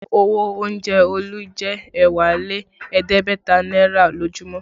Owó oúnjẹ Olu jẹ ẹ̀wá lé ẹ̀ẹ́dẹ́gbẹ̀ta náírà lójúmọ́